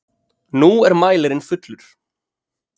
Nú er mælirinn fullur!